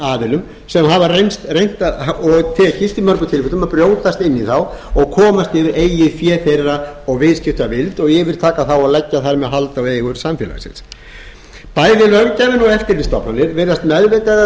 aðilum sem hafa reynt og tekist í mörgum tilfellum að brjótast inn í þá og komast yfir eigið fé þeirra og viðskiptavild yfirtaka þá og leggja þar með hald á eigur samfélagsins bæði löggjafinn og eftirlitsstofnanir virðast meðvitað eða